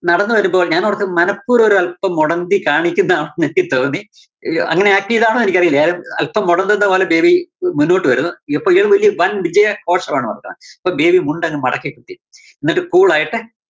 നടന്നു വരുമ്പോ ഞാന്‍ ഓര്‍ത്തു മനപ്പൂര്‍വ്വം ഒരല്‍പ്പം മൊടന്തി കാണിക്കുന്നതാണോന്ന് എനിക്ക് തോന്നി ഈ അങ്ങനാക്കിയാതാണോ എനിക്കറിയില്ല ആഹ് അല്‍പ്പം മൊടന്തുന്ന പോലെ ബേബി മുന്നോട്ട് വരുന്നു. ഇപ്പോ ഇയാള് വലിയ വന്‍ വിജയഘോഷമാണ് . അപ്പോ ബേബി മുണ്ടങ്ങ് മടക്കി കുത്തി എന്നിട്ട് cool ആയിട്ട്